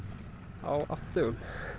á átta dögum